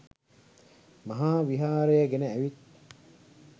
මහා විහාරය ගෙන ඇවිත්